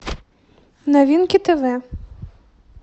новинки тв